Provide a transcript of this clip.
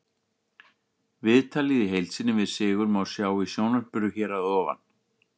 Viðtalið í heild sinni við Sigurð má sjá í sjónvarpinu hér að ofan.